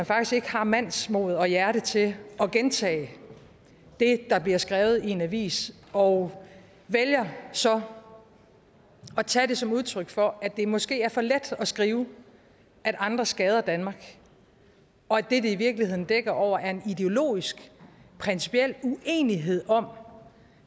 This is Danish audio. faktisk ikke har mandsmod og hjerte til at gentage det der bliver skrevet i en avis og vælger så at tage det som udtryk for at det måske er for let at skrive at andre skader danmark og at det det i virkeligheden dækker over er en ideologisk principiel uenighed om